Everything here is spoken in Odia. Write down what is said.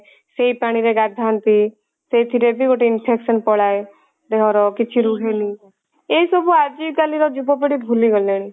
ସେଇ ପାଣି ରେ ଗାଧାନ୍ତି ସେଇଥିରେ ବି ଗୋଟେ infection ପଳାଏ ଦେହ ର କିଛି ରୁହେନି ଏସବୁ ଆଜି କାଲି ର ଯୁବ ପିଢୀ ମାନେ ଭୁଲି ଗଲେଣି